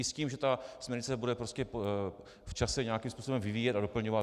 I s tím, že ta směrnice se bude v čase nějakým způsobem vyvíjet a doplňovat.